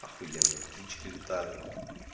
охуенно птички летают